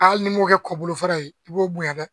Hali n'i m'o kɛ kɔ bolo fɛɛrɛ ye, i b'o bonyan dɛ